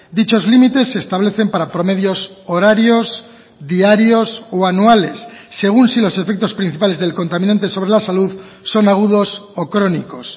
dichos límites se establecen para promedios horarios diarios o anuales según si los efectos principales del contaminante sobre la salud son agudos o crónicos